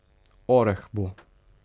Oreh bo.